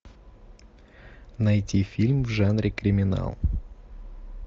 найти фильм в жанре криминал